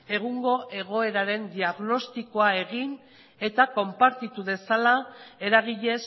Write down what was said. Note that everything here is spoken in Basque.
egungo egoeraren diagnostikoa egin eta konpartitu dezala eragile